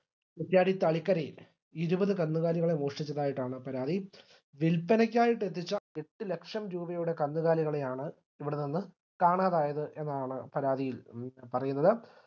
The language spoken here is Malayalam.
കുറ്റിയാടി തളിക്കരയിൽ ഇരുപത് കന്നുകാലികളെ മോഷ്ടിച്ചതായിട്ടാണ് പരാതി വില്പനയ്ക്കായിട്ടെത്തിച്ച എട്ടുലക്ഷം രൂപയുടെ കന്നുകാലികളെയാണ് ഇവിടെനിന്ന്‌ കാണാതായത് എന്നാണ് പരാതിയിൽ പറയുന്നത്